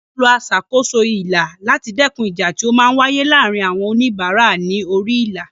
Wọ́n máa lo aṣàkóso ilà láti dẹ́kun ìjà tí ó máa ń wáyé láàárín àwọn oníbàárà ní orí ilà.